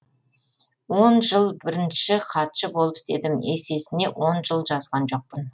он жыл бірінші хатшы болып істедім есесіне он жыл жазған жоқпын